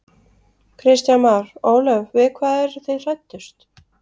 Kristján Már: Ólöf við hvað eru þið hræddust?